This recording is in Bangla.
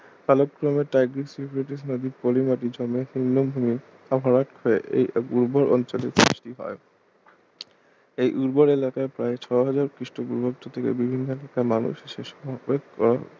কালক্রমে টাইগ্রিস ইউফ্রেটিস নদী পলিমাটি জমে নিম্নভূমি ভরাট হয়ে এই উর্বর অঞ্চলের সৃষ্টি হয় এই উর্বর এলাকার প্রায় ছ হাজার খ্রিস্ট পূর্বাব্দ থেকে বিভিন্ন এখানকার মানুষ সে সময়